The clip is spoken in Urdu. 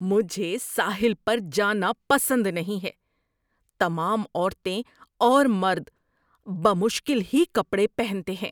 مجھے ساحل پر جانا پسند نہیں ہے۔ تمام عورتیں اور مرد بمشکل ہی کپڑے پہنتے ہیں۔